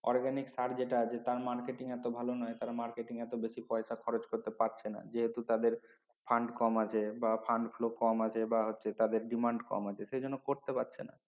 organic সার যেটা আছে তার marketing এতো ভালো নয় কারণ তারা marketing এ পয়সা খরচ করতে পারছে না যেহেতু তাদের Fund কম আছে বা fund flow কম আছে বা হচ্ছে তাদের Demand কম আছে সে জন্য করতে পারচ্ছে না